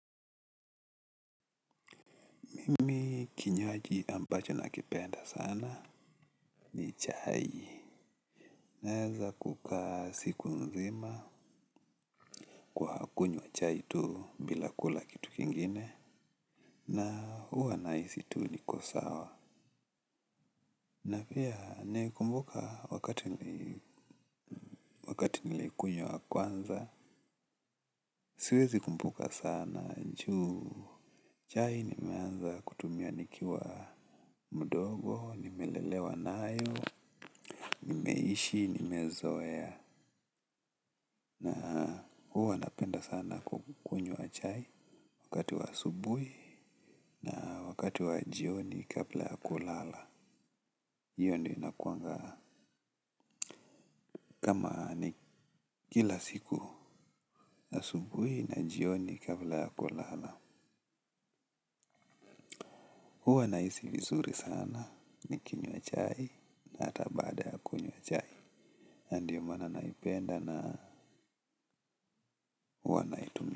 Mimi kinywaji ambacho nakipenda sana ni chai. Naeza kukaa siku nzima kwa kunywa chai tu bila kula kitu kingine na huwa nahisi tu niko sawa. Na pia naikumbuka wakati wakati nilikunywa kwanza. Siwezi kumbuka sana ju. Chai nimeanza kutumia nikiwa mdogo, nimelelewa nayo, nimeishi, nimezoea. Huwa napenda sana kukunywa chai wakati wa asubuhi na wakati wa jioni kabla ya kulala. Hiyo ndio inakuwanga kama ni kila siku asubuhi na jioni kabla ya kulala. Huwa nahisi vizuri sana nikinywa chai na hata baada ya kunywa chai. Ndio maana naipenda na huwa naitumia.